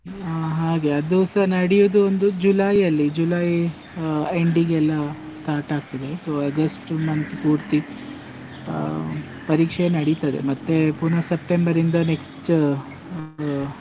ಹ ಹಾಗೆ, ಅದೂಸ ನಡಿಯೊದೊಂದು July ಅಲ್ಲಿ, July ಆ end ಗೆಲ್ಲ start ಆಗ್ತದೆ, so August month ಪೂರ್ತಿ, ಆ ಪರೀಕ್ಷೆ ನಡಿತದೆ, ಮತ್ತೆ ಪುನ September ಇಂದ next ಅಹ್.